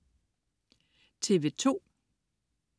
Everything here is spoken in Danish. TV2: